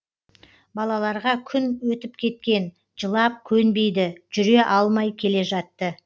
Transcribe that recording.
балаларға күн өтіп кеткен жылап көнбейді жүре алмай келе жатты